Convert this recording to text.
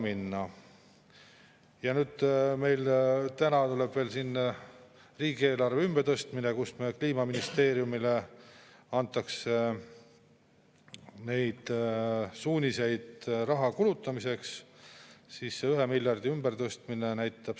Kui rahandusminister tõi välja brutopalgad, et õpetaja 2200 või üle 2000, nagu on seaduses, siis siinsamas koridoris Arenguseire Keskuse lühiraport toob maakondade keskmised brutopalgad, alates 1834 eurost Harju maakonnas ning lõpetades madalama maakondadega – 1100 ja 1200 Hiiu- ja Valgamaal.